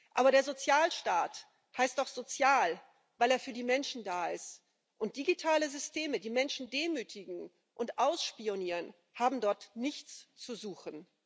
Aber der Sozialstaat heißt doch sozial, weil er für die Menschen da ist, und digitale Systeme, die Menschen demütigen und ausspionieren, haben dort nichts zu suchen.